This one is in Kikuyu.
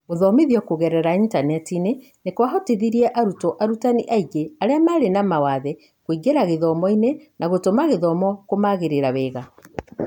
Gũthomithio kũgerera intaneti nĩ kwahotithirie arutwo arutani aingĩ arĩa marĩ na mawathe kũingĩra gĩthomo-inĩ na gũtũma gĩthomo kũmagĩrĩra wega.